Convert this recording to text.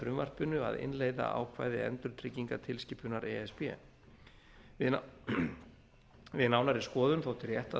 frumvarpinu að innleiða ákvæði endurtryggingatilskipunar e s b við nánari skoðun þótti rétt að